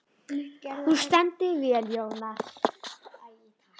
Þú stendur þig vel, Jónar!